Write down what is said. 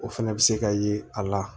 O fɛnɛ bɛ se ka ye a la